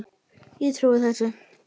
Ég trúi þessu.